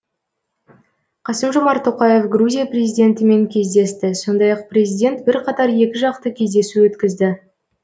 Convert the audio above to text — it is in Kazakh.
қасым жомарт тоқаев грузия президентімен кездесті сондай ақ президент бірқатар екіжақты кездесу өткізді